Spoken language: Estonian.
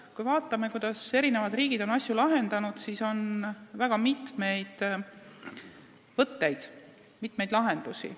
Kui me vaatame, kuidas eri riigid on neid asju lahendanud, siis näeme väga mitmeid võtteid ja lahendusi.